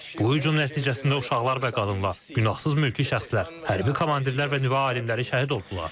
Bu hücum nəticəsində uşaqlar və qadınlar, günahsız mülki şəxslər, hərbi komandirlər və nüvə alimləri şəhid oldular.